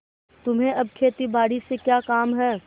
तुम्हें अब खेतीबारी से क्या काम है